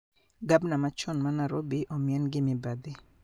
Gabna machon ma narobi omien gi mibadhi